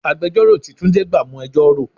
Agbẹjoro tí túndé gbà mo ẹjọ́ rò.